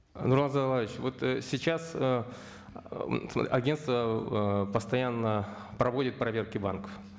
нурлан зайроллаевич вот ы сейчас ы агенство ыыы постоянно проводит проверки банков